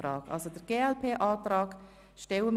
Das ist der Fall.